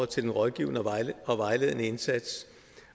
til den rådgivende og vejledende indsats